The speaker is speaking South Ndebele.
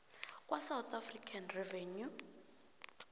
kwasouth african revenue